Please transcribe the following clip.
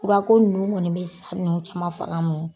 Furako ninnu kɔni bɛ sa nun caman faga